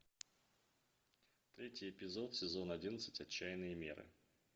третий эпизод сезон одиннадцать отчаянные меры